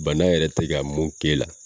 Bana yɛrɛ te ka mun k'ela